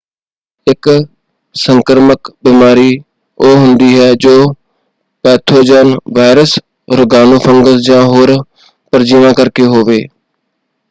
ਇੱਕ ਸੰਕਰਾਮਕ ਬਿਮਾਰੀ ਉਹ ਹੁੰਦੀ ਹੈ ਜੋ ਪੈਥੋਜਨ ਵਾਇਰਸ ਰੋਗਾਣੂ ਫੰਗਸ ਜਾਂ ਹੋਰ ਪਰਜੀਵਾਂ ਕਰਕੇ ਹੋਵੇ।